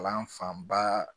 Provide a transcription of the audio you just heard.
Kalan fanba